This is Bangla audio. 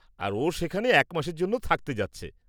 আর ও সেখানে এক মাসের জন্য থাকতে যাচ্ছে।